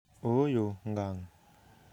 Ooyo ngang'.